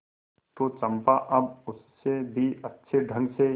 तो चंपा अब उससे भी अच्छे ढंग से